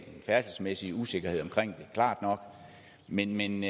færdselsmæssig usikkerhed omkring det klart nok men men